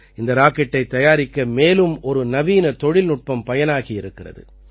இந்த ராக்கெட்டைத் தயாரிக்க மேலும் ஒரு நவீன தொழில்நுட்பம் பயனாகி இருக்கிறது